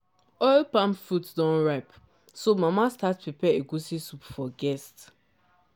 oil palm fruit don ripe so mama start prepare egusi soup for guest.